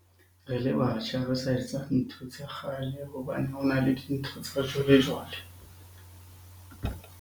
Re le batjha re sa etsa ntho tsa kgale hobane ha le dintho tsa jwale-jwale.